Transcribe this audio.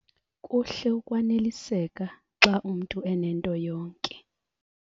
Kuhle ukwaneliseka xa umntu enento yonke.